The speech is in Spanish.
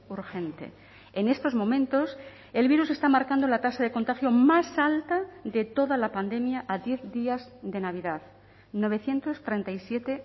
urgente en estos momentos el virus está marcando la tasa de contagio más alta de toda la pandemia a diez días de navidad novecientos treinta y siete